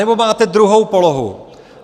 Anebo máte druhou polohu.